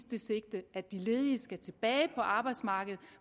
det sigte at de ledige skal tilbage på arbejdsmarkedet